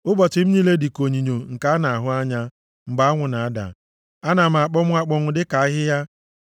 Ụbọchị m niile dịka onyinyo nke a na-ahụ anya mgbe anwụ na-ada. Ana m akpọnwụ akpọnwụ, dịka ahịhịa.